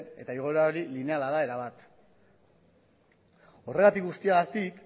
eta igoera hori lineala da erabat horregatik guztiagatik